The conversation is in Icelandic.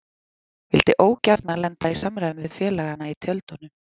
Vildi ógjarna lenda í samræðum við félagana í tjöldunum.